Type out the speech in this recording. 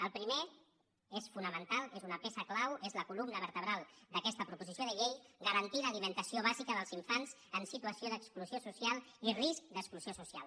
el primer és fonamental és una peça clau és la columna vertebral d’aquesta proposició de llei garantir l’alimentació bàsica dels infants en situació d’exclusió social i risc d’exclusió social